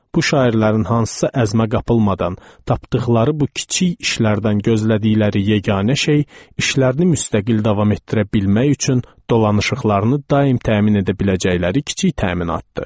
Bu şairlərin hansısa əzmə qapılmadan tapdıqları bu kiçik işlərdən gözlədikləri yeganə şey işlərini müstəqil davam etdirə bilmək üçün dolanışıqlarını daim təmin edə biləcəkləri kiçik təminatdır.